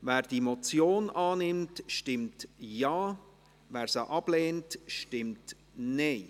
Wer die Motion annimmt, stimmt Ja, wer diese ablehnt, stimmt Nein.